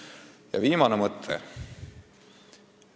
Ning nüüd viimane mõte.